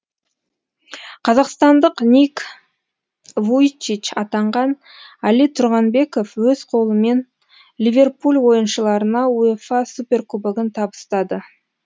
қазақстандық ник вуйчич атанған әли тұрғанбеков өз қолымен ливерпуль ойыншыларына уефа супер кубогын табыстады